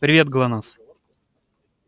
привет глонассс